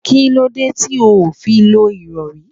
Kí lóde ti óò fí lọ ìrọri?